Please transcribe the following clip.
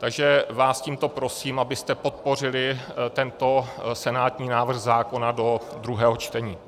Takže vás tímto prosím, abyste podpořili tento senátní návrh zákona do druhého čtení.